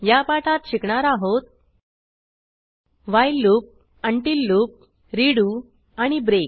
या पाठात शिकणार आहोत while loop until loop redo आणि ब्रेक